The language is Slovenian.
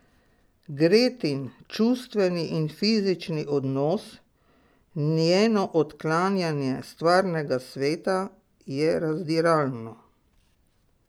Gretin čustveni in fizični odnos, njeno odklanjanje stvarnega sveta je razdiralno.